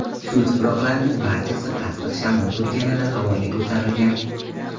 Shu tuproqlarning barchasi qattiq shamol turganida havoga ko‘tarilgan.